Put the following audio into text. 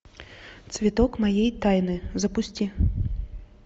цветок моей тайны запусти